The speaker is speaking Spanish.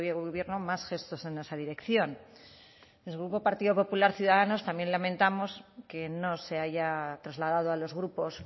gobierno más gestos en esa dirección desde el grupo partido popular ciudadanos también lamentamos que no se haya trasladado a los grupos